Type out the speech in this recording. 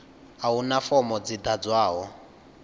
a huna fomo dzi ḓ adzwaho